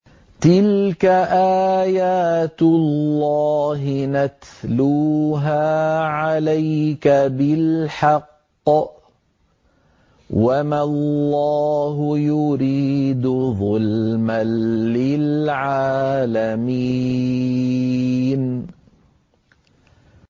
تِلْكَ آيَاتُ اللَّهِ نَتْلُوهَا عَلَيْكَ بِالْحَقِّ ۗ وَمَا اللَّهُ يُرِيدُ ظُلْمًا لِّلْعَالَمِينَ